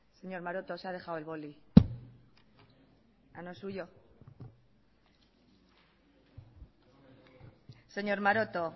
señor maroto se ha dejado el boli no es suyo señor maroto